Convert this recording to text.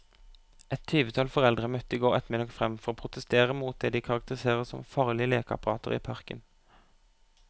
Et tyvetall foreldre møtte i går ettermiddag frem for å protestere mot det de karakteriserer som farlige lekeapparater i parken.